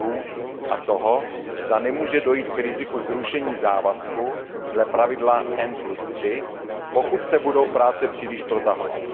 lhůt a toho, zda nemůže dojít k riziku zrušení závazku dle pravidla N3, pokud se budou práce příliš protahovat.